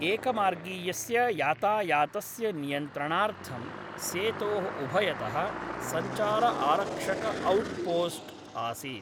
एकमार्गीयस्य यातायातस्य नियन्त्रणार्थं सेतोः उभयतः सञ्चारआरक्षकऔट्पोस्ट् आसीत्।